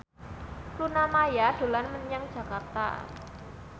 Luna Maya dolan menyang Jakarta